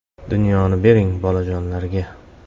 “Dunyoni bering bolajonlarga”.